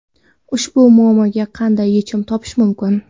Ushbu muammoga qanday yechim topish mumkin?.